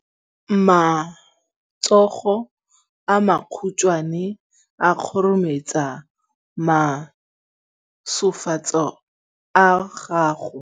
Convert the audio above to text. Matsogo a makhutshwane a khurumetsa masufutsogo a gago.